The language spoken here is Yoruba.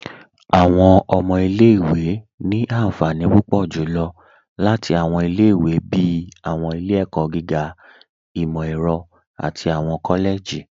Awọn ọmọ ilẹ̀-ìwé ni ànfànì púpọ̀ julọ́ láti awọn ilẹ̀-ìwé bíi awọn ilẹ̀-ẹ̀kọ̀ gígà, imọ-ẹrọ̀, àti awọn kọ́lẹ̀jì.